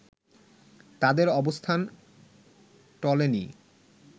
তাদের অবস্থান টলেনি